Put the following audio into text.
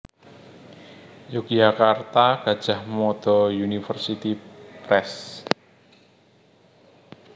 Yogyakarta Gadjah Mada University Press